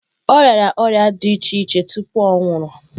Ọ rịara ọrịa dị iche iche tupu ọ nwụrụ.